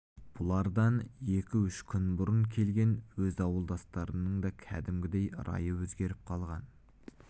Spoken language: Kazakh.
бұлардан екі-үш күн бұрын келген өз ауылдастарының да кәдімгідей райы өзгеріп қалған